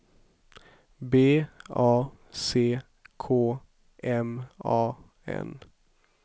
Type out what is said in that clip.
B A C K M A N